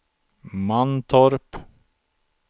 Mantorp